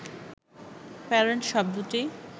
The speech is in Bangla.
প্যারেন্ট শব্দটি